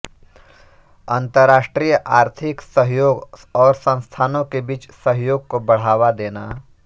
अन्तरराष्ट्रीय आर्थिक सहयोग और संस्थानों के बीच सहयोग को बढ़ावा देना